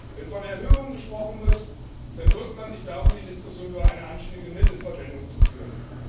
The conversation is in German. Wenn von Erhöhungen gesprochen wird, dann drückt man sich darum, die Diskussion über eine anständige Mittelverwendung zu führen.